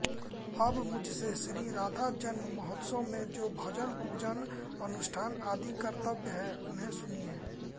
अब मुझसे श्री राधाजन्म महोत्सव में जो भजनपूजन अनुष्ठान आदि कर्तव्य हैं उन्हें सुनिए